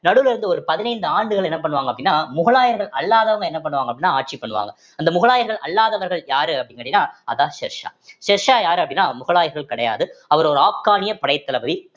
நடுவுல இருந்து ஒரு பதினைந்து ஆண்டுகள் என்ன பண்ணுவாங்க அப்படின்னா முகலாயர்கள் அல்லாதவங்க என்ன பண்ணுவாங்க அப்படின்னா ஆட்சி பண்ணுவாங்க அந்த முகலாயர்கள் அல்லாதவர்கள் யாரு அப்படீன்னு கேட்டீங்கன்னா அதுதான் ஷெர்ஷா ஷெர்ஷா யாரு அப்படின்னா முகலாயர்கள் கிடையாது அவர் ஒரு ஆப்கானிய படைத்தளபதி